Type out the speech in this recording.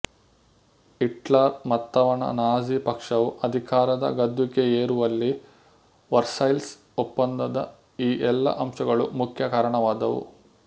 Hitler ಮತ್ತವನ Nazi ಪಕ್ಷವು ಅಧಿಕಾರದ ಗದ್ದುಗೆಯೇರುವಲ್ಲಿ ವರ್ಸೈಲ್ಸ್ ಒಪ್ಪಂದದ ಈ ಎಲ್ಲ ಅಂಶಗಳು ಮುಖ್ಯ ಕಾರಣವಾದವು